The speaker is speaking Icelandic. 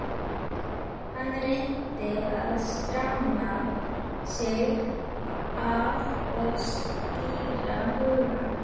Hann reyndi að stramma sig af og skýra hugann.